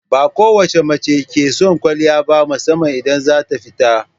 Ba kowace mace ke son kwaliya ba musamman idan za ta fita.